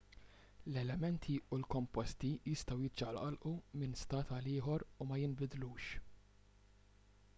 l-elementi u l-komposti jistgħu jiċċaqalqu minn stat għal ieħor u ma jinbidlux